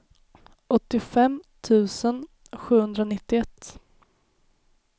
åttiofem tusen sjuhundranittioett